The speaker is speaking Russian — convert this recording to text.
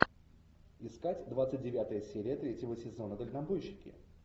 искать двадцать девятая серия третьего сезона дальнобойщики